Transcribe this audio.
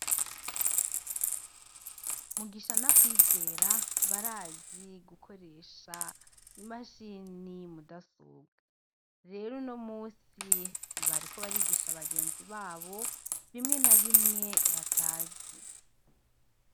Mugisha na Kwizera barazi gukoresha imashini rudasobwa. Rero uno musi bariko barigisha bagenzi babo bimwe na bimwe batazi.